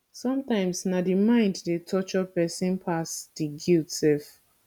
somtimes na di mind dey torture pesin pass di guilt sef